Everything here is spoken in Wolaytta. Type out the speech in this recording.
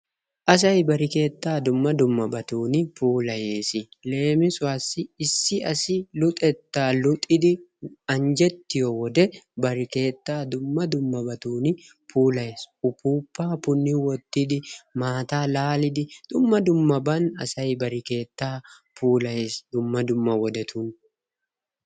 Asay bari keettaa dumma dummabatun puulayees. Leemisuwassi issi lasi uxettaa luxidi anjjettiyo wode bari keettaa dumma dummabatun puulayees, ufuuppaa punni wottidi, maataa laalidi dumma dummaban asay bari keettaa puulayees. Dumma dummabatun.